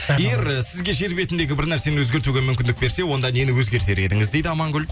егер сізге жер бетіндегі бір нәрсені өзгертуге мүмкіндік берсе онда нені өзгертер едіңіз дейді амангүл